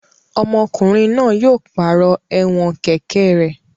Ọmọkùnrin náà yóò pàrọ̀ ẹ̀wọ̀n kẹ̀kẹ́ rẹ̀.